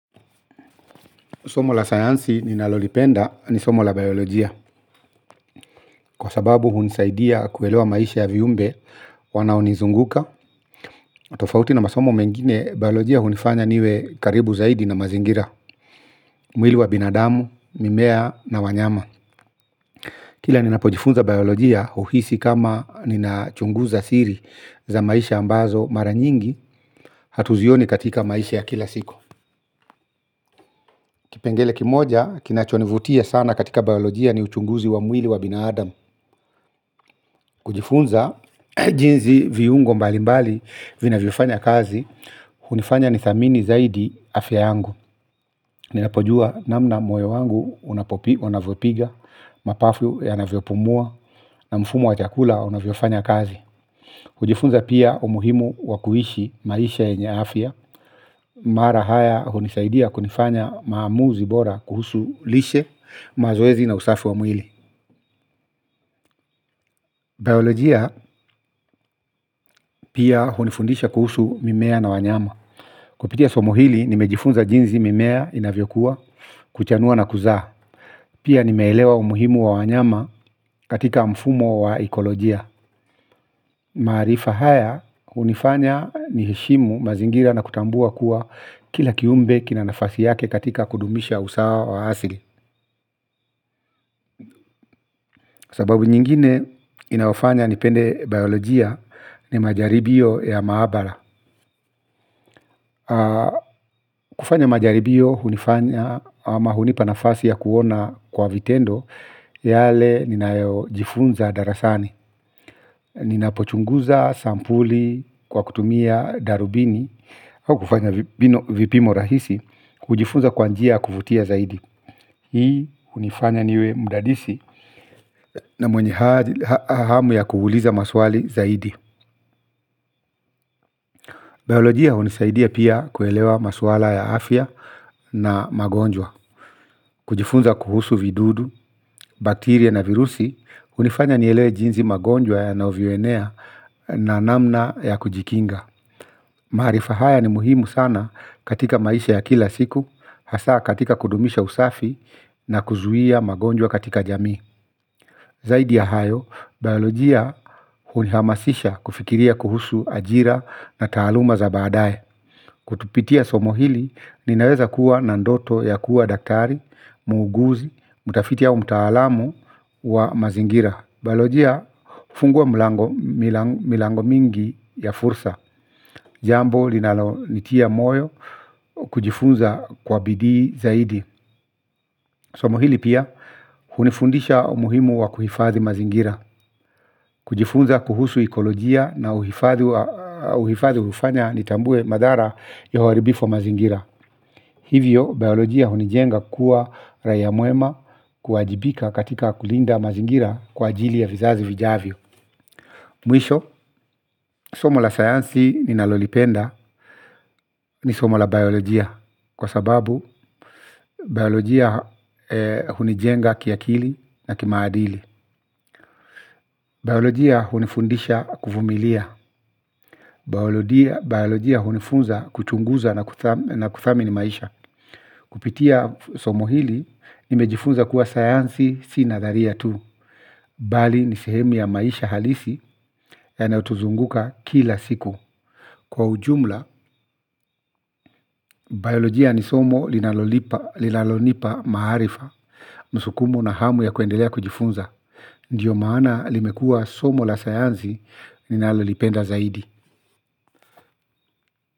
Somo la sayansi ninalolipenda ni somo la biolojia, kwa sababu hunisaidia kuelewa maisha ya viumbe wanaonizunguka tofauti na masomo mengine biolojia hunifanya niwe karibu zaidi na mazingira. Mwili wa binadamu, mimea na wanyama. Kila ninapojifunza biolojia uhisi kama ninachunguza siri za maisha ambazo mara nyingi, hatuzioni katika maisha ya kila siku. Kipengele kimoja kinachonivutia sana katika biolojia ni uchunguzi wa mwili wa binadamu. Kujifunza jinzi viungo mbali mbali vinavyofanya kazi. Hunifanya nithamini zaidi afya yangu. Ninapojua namna moyo wangu unavyopiga, mapafu yanavyopumua na mfumo wa chakula kufanya kazi. Kujifunza pia umuhimu wa kuishi maisha yenye afya. Mara haya hunisaidia kunifanya maamuzi bora kuhusu lishe, mazoezi na usafu wa mwili biolojia pia hunifundisha kuhusu mimea na wanyama. Kupitia somo hili nimejifunza jinzi mimea inavyokua, kuchanua na kuzaa. Nimeelewa umuhimu wa wanyama, katika mfumo wa ikolojia. Maarifa haya hunifanya niheshimu mazingira na kutambua kuwa kila kiumbe kina nafasi yake katika kudumisha usawa wa asili. Sababu nyingine inafanya nipende biolojia ni majaribio ya maabara. Kufanya majaribio hunifanya ama hunipa nafasi ya kuona kwa vitendo, yale ninayojifunza darasani. Ninapochunguza sampuli kwa kutumia darubini, au kufanya vipimo rahisi, hujifunza kwa njia ya kuvutia zaidi. Hii hunifanya niwe mdadisi na mwenye hamu ya kuuliza maswali zaidi. Biolojia hunisaidia pia kuelewa maswala ya afya na magonjwa. Kujifunza kuhusu vidudu, baktiria na virusi, hunifanya nielewe jinsi magonjwa yanavyoenea na namna ya kujikinga. Maarifa haya ni muhimu sana katika maisha ya kila siku, hasa katika kudumisha usafi na kuzuia magonjwa katika jamii. Zaidi ya hayo, biolojia unihamasisha kufikiria kuhusu ajira na taaluma za baadaye. Kupitia somo hili, ninaweza kuwa na ndoto ya kuwa daktari, muuguzi, mtafiti au mtaalamu wa mazingira. Bailojia, hufungua milango mingi ya fursa. Jambo, linalonitia moyo, wa kujifunza kwa bidii zaidi. Somo hili pia, hunifundisha umuhimu wa kuhifadhi mazingira. Kujifunza kuhusu ekolojia na uhifadhi hufanya nitambue madhara ya uharibifu wa mazingira hivyo, biolojia hunijenga kuwa raia mwema, kuajibika katika kulinda mazingira kwa ajili ya vizazi vijavyo. Mwisho, somo la sayansi ninalolipenda ni somo la biolojia. Kwa sababu, biolojia hunijenga kiakili na kimaadili. Biolojia hunifundisha kuvumilia. Biolojia hunifunza kuchunguza na kuthamini maisha. Kupitia somo hili, nimejifunza kuwa sayanzi si nadharia tu, bali ni sehemu ya maisha halisi yanayotuzunguka kila siku. Kwa ujumla, biolojia ni somo linalolipa maarifa, msukumo na hamu ya kuendelea kujifunza. Ndio maana limekuwa somo la sayanzi ninalolipenda zaidi.